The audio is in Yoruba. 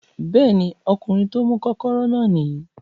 Bẹ́ẹ̀ ni, ọkùnrin tí ó mú kọ́kọ́rọ́ náà nìyí